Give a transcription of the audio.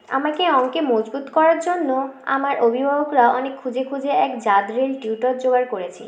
আমাকে অঙ্কে মজবুত করার জন্য আমার অভিভাবকরা অনেক খুজে খুজে এক জাদরেল tutor জোগাড় করছে